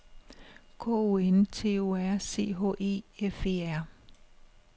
K O N T O R C H E F E R